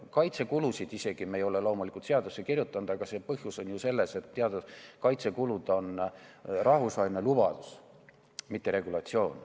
Kaitsekulusid me ei ole loomulikult seadusesse kirjutanud, aga põhjus on ju selles, et kaitsekulud on rahvusvaheline lubadus, mitte regulatsioon.